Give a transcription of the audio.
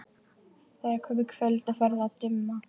Það er komið kvöld og farið að dimma.